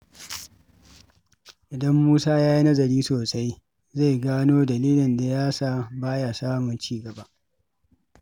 Idan Musa ya yi nazari sosai, zai gano dalilin da ya sa ba ya samun ci gaba.